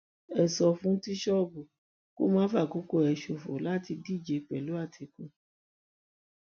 ẹ sọ fún tìṣọbù kó má fàkókò ẹ ṣòfò láti díje pẹlú àtìkú